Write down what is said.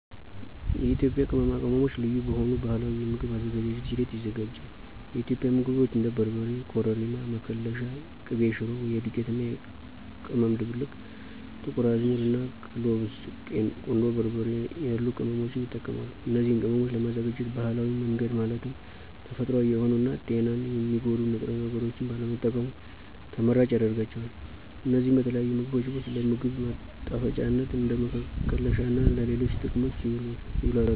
የኢትዮጵያ ቅመማ ቅመሞች ልዩ በሆኑ ባህላዊ የምግብ አዘገጃጀት ሂደት ይዘጋጃል። የኢትዮጵያ ምግቦች እንደ በርበሬ፣ ኮረሪማ፣ መከለሻ፣ ቅቤ ሽሮ (የዱቄት እና ቅመም ድብልቅ)፣ ጥቁር አዝሙድ፣ እና ክሎቭስ፣ ቁንዶ በርበሬ ያሉ ቅመሞችን ይጠቀሳሉ። እነዚን ቅመሞች ለማዘጋጀት ባህላዊ መንገድ ማለትም ተፈጥሮአዊ የሆኑ እና ጤናን የሚጎዱ ንጥረ ነገሮችን ባለመጠቀሙ ተመራጭ ያደርጋቸዋል። እነዚህ በተለያዩ ምግቦች ውስጥ ለ ምግብ ማጣፈጫነት፣ እንደ መከለሻ እና ለሌሎች ጥቅሞችም ይውላሉ።